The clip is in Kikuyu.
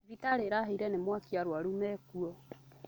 Thibitarĩ ĩrahĩire nĩ mwaki arwaru mekuo